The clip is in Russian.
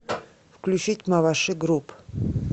включить маваши груп